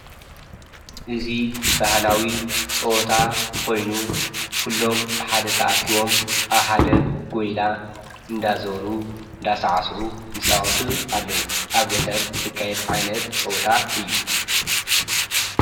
እዙይ ባህላዊ ፀወታ ኾይኑ ኲሎም ብሓደ ተኣኪቦም ኣብ ሓደ ጐይላ እንዳዞሩ እንዳሳዕስዑ ይፃወቱ ኣለዉ፡፡ ኣብ ገጠር ዝካየድ ዓይነት ፀወታ እዩ፡፡